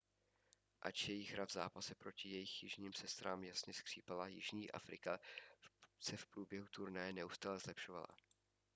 ač jejich hra v zápase proti jejich jižním sestrám jasně skřípala jižní afrika se v průběhu turnaje neustále zlepšovala